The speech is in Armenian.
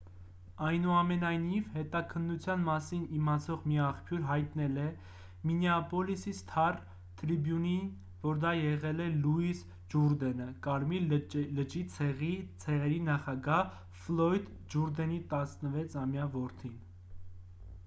այնուամենայնիվ հետաքննության մասին իմացող մի աղբյուր հայտնել է մինեապոլիսի «սթար թրիբյուն»-ին որ դա եղել է լուիս ջուրդենը՝ կարմիր լճի ցեղերի նախագահ ֆլոյդ ջուրդենի 16-ամյա որդին։